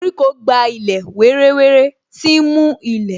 Koríko gba ilẹ̀ wéré wéré, tí ń mú ilẹ̀